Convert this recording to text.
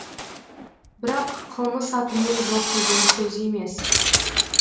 бірақ қылмыс атымен жоқ деген сөз емес